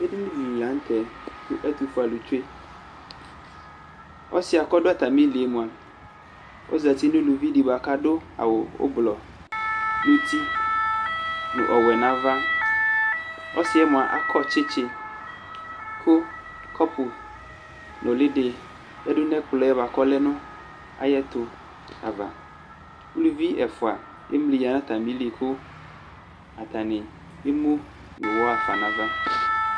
Edɩnɩ dɩ li la nʋ tɛ kʋ ɛtʋfue alʋ tsʋe Ɔsɩ kʋ ɔdʋ atamɩlɩ yɛ mʋa, ozǝtɩ nʋ uluvi dɩ bʋa kʋ adʋ aɣʋ ʋblɔ nʋ uti nʋ ɔwɛ nʋ ava Ɔsɩ yɛ mʋa akɔ tsɩtsɩ kʋ kɔpʋ ɔnʋlɩ dɩ yadʋ nʋ ɛkplɔ yɛ bʋakʋ ɔlɛ nʋ ayʋ ɛtʋ ava Uluvi ɛfua emlɩ ya nʋ atamɩlɩ kʋ atanɩ emʋ nʋ ʋwɔ ɣafa nʋ ava